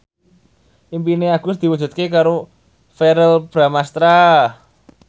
impine Agus diwujudke karo Verrell Bramastra